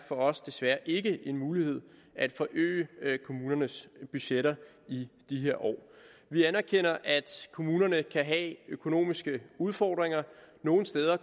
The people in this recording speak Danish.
os desværre ikke er en mulighed at forøge kommunernes budgetter i de her år vi anerkender at kommunerne kan have økonomiske udfordringer nogle steder